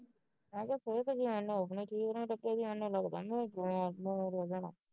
ਮੈਂ ਕਿਹਾ ਫਿਰ ਮੈਂ ਕਿਹਾ ਫਿਰ ਤਾ ਹੀ ਹੁਣ ਸਮਾਨ ਸੁਮਾਨ ਚਲ ਜਾਣਾ